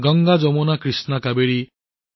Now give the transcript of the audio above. Ganga Yamuna Krishna Kaveri